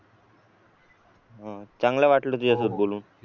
चांगलं वाटलं तुझ्याशी बोलून